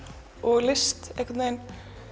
og list einhvern veginn